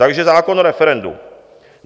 Takže zákon o referendu.